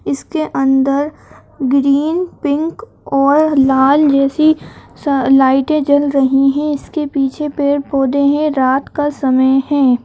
इसके अंदर green pink और लाल जैसी स लाइटें जल रही हैं। इसके पीछे पेड़ पौधे हैं। रात का समय है।